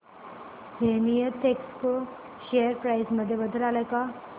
Zenith Expo share price मध्ये बदल आलाय का